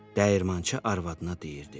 Dəyirmançı arvadına deyirdi: